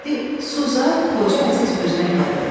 Di su zad, Xoca Əziz özünə gəldi.